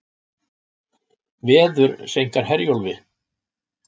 Veður seinkar Herjólfi